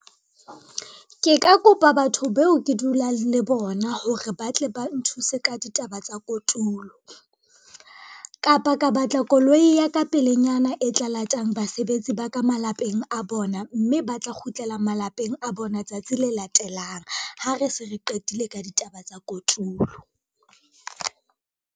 Ke ka kopa batho beo ke dulang le bona hore ba tle ba nthuse ka ditaba tsa kotulo, kapa ka batla koloi ya ka pelenyana e tla latang basebetsi ba ka malapeng a bona, mme ba tla kgutlela malapeng a bona tsatsi le latelang ha re se re qetile ka ditaba tsa kotulo.